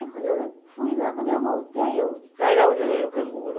Aí quando eu fui lá, quando eu voltei, eu carregava o neném no canguru.